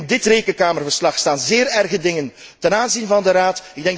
Raad. Ook in dit Rekenkamerverslag staan zeer erge dingen ten aanzien van de